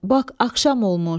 Bax axşam olmuş.